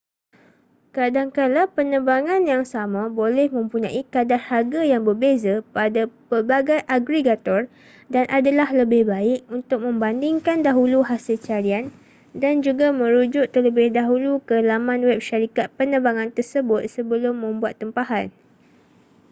kadangkala penerbangan yang sama boleh mempunyai kadar harga yang berbeza pada pelbagai agregator dan adalah lebih baik untuk membandingkan dahulu hasil carian dan juga merujuk terlebih dahulu ke laman web syarikat penerbangan tersebut sebelum membuat tempahan